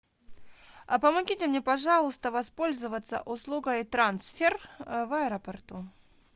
а помогите мне пожалуйста воспользоваться услугой трансфер в аэропорту